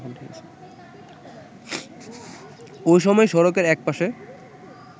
ওই সময় সড়কের একপাশে